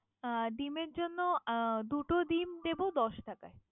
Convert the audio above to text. আহ ডিমের জন্য আহ দুটো ডিম দিবো দশ টাকা।